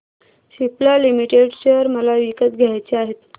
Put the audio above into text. Cipla limited share मला विकत घ्यायचे आहेत